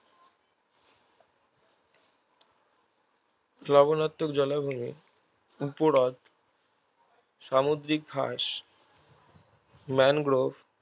লবনাত্মক জলাভূমি উপহ্রদ সামুদ্রিক ঘাস ম্যানগ্রোভ